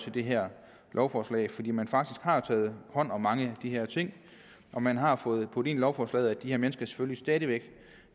i det her lovforslag fordi man har taget hånd om mange af de her ting og man har fået puttet ind i lovforslaget at de her mennesker selvfølgelig stadig væk